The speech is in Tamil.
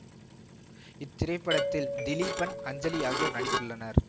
இத்திரைப்படத்தில் திலீபன் அஞ்சலி ஆகியோர் நடித்துள்ளனர்